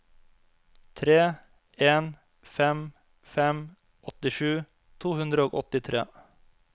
tre en fem fem åttisju to hundre og åttitre